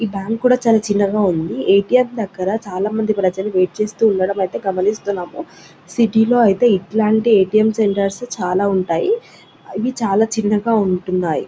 ఈ బ్యాంకు కూడా చాలా చిన్నగా ఉంది ఎ.టీ.ఎం దగ్గర చాల మంది ప్రజలు వెయిట్ చెయ్యడం గమనిస్తున్నాము సిటీ లో అయితే ఇలాంటి ఎ.టీ.ఎం లు చాలా ఉంటాయి ఇవి చాలా చిన్నగా ఉంటున్నాయి.